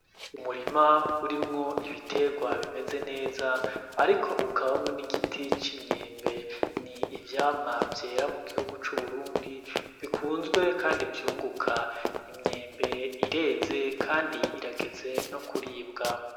Umurima urimwo ibiterwa bimeze neza, ariko ukabamwo n'igiti c'imyembe ni ivyamwa vyera mu gihugu c'uburundi bikunzwe, kandi vyunguka imyembe ireze, kandi irageze no kuribwa.